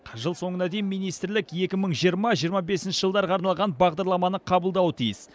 жыл соңына дейін министрлік екі мың жиырма жиырма бесінші жылдарға арналған бағдарламаны қабылдауы тиіс